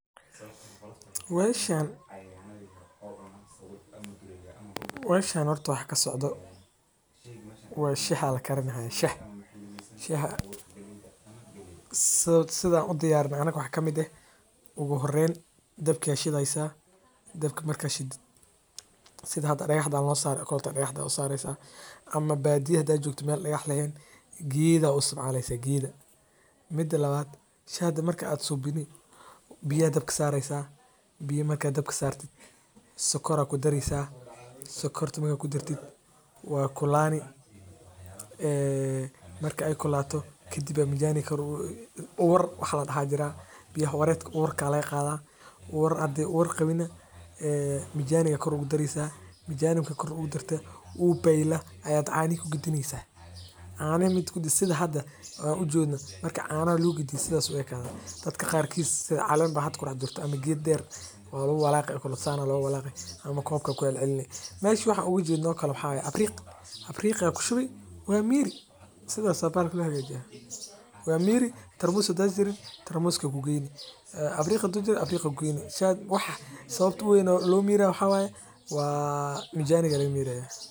Suashan waxaa kasocdaa waa shah ayaa lakarini haaya sidaan u diyaarino anaga waxaa kamid ah dab ayaa shideysa sida meesha ka muuqato ama geeda ayaa isticmaleysa danka badiyaha kadib biya ayaa dabka sareysa sokor ayaa ku dareysa waad ku rideysa kadib waad cuneysa sida loo isticmaalo cunooyinka ufican tahay wadnaha iyo kansarka qaarkood masdulaagi waxeey leeyihiin ujeedoyin kala duban.